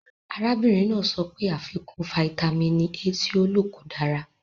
Arábìnrin náà sọ pé àfikún fáítámínì A tí ó lò kò dára.